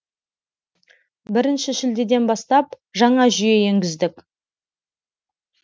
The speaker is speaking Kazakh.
бірінші шілдеден бастап жаңа жүйе енгіздік